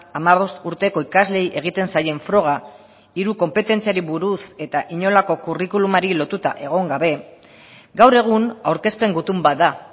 hamabost urteko ikasleei egiten zaien froga hiru konpetentziari buruz eta inolako curriculumari lotuta egon gabe gaur egun aurkezpen gutun bat da